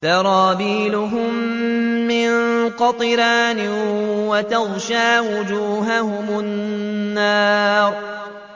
سَرَابِيلُهُم مِّن قَطِرَانٍ وَتَغْشَىٰ وُجُوهَهُمُ النَّارُ